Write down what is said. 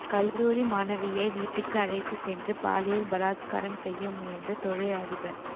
கல்லூரி மாணவியை வீட்டுக்கு அழைத்து சென்று பாலியல் பலாத்காரம் செய்ய முயன்ற தொழில் அதிபர்